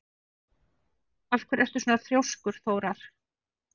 Af hverju ertu svona þrjóskur, Þórar?